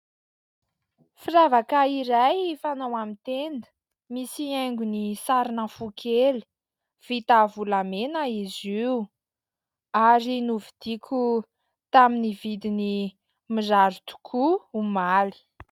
Firavaka iray fanao amin'ny tenda misy haingony sarina fo kely vita volamena izy io ary novidiako tamin'ny vidiny mirary tokoa omaly.